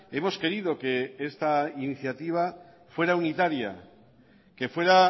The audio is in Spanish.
hemos querido que esta iniciativa fuera unitaria que fuera